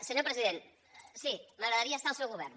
senyor president sí m’agradaria estar al seu govern